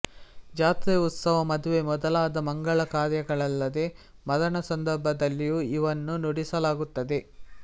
ಜಾತ್ರೆ ಉತ್ಸವ ಮದುವೆ ಮೊದಲಾದ ಮಂಗಳ ಕಾರ್ಯಗಳಲ್ಲದೆ ಮರಣ ಸಂದರ್ಭದಲ್ಲಿಯೂ ಇವನ್ನು ನುಡಿಸಲಾಗುತ್ತದೆ